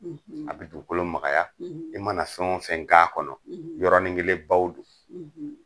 A bɛ dugukolo makaya i mana fɛn wo fɛn k'a kɔnɔ yɔrɔni kelen baw don.